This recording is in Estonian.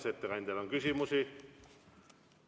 Kas ettekandjale on küsimusi?